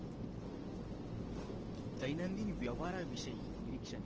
दैनंदिन व्यवहारा विषयी निरीक्षणे